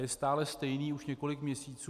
Je stále stejný už několik měsíců.